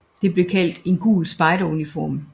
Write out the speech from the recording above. Det blev kaldt en gul spejderuniform